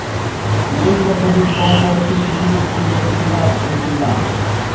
তিন বছরের কম বয়সী শিশুদের জন্য সিরাপ দেবেন না